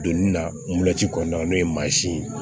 Donin na moto kɔnɔna n'o ye mansin ye